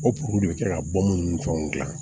O de bɛ kɛ ka bɔ minnu ni fɛnw dilan